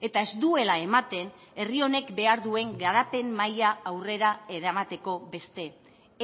eta ez duela ematen herri honek behar duen garapen maila aurrera eramateko beste